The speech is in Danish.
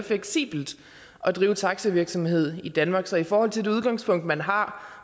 fleksibelt at drive taxavirksomhed i danmark så i forhold til det udgangspunkt man har